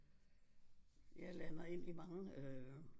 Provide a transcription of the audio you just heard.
Jeg lander ind i mange øh